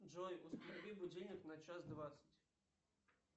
джой установи будильник на час двадцать